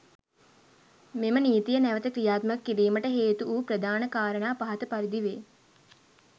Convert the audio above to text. මෙම නීතිය නැවත ක්‍රියාත්මක කිරිමට හේතු වු ප්‍රධාන කාරණා පහත පරිදි වේ.